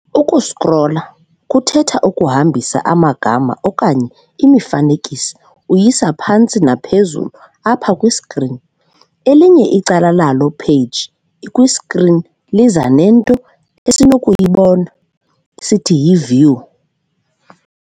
"Uku-scrolla" kuthetha ukuhambisa amagama okanye imifanekiso uyisa phantsi naphezulu apha kwi-screen, elinye icala lalo-page ikwi-screen liza nento esinokuyibona nesithi yi-view.